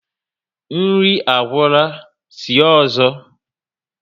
Nri agwura, sie ọzọ